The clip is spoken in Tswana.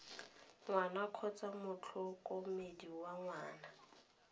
ngwana kgotsa motlhokomedi wa ngwana